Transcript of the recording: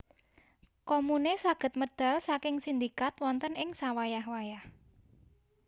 Komune saged medal saking sindikat wonten ing sawayah wayah